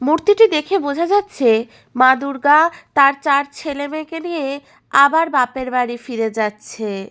মূর্তিটি দেখে বোঝা যাচ্ছে মা দূর্গা তার চার ছেলেমেয়েকে নিয়ে আবার বাপের বাড়ি ফিরে যাচ্ছে।